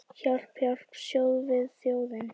Hjálp, hjálp, stöðvið þjófinn!